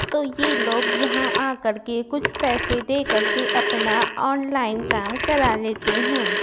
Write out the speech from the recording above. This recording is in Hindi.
तो ये लोग यहां आकर के कुछ पैसे दे करके अपना ऑनलाइन काम करा लेते हैं।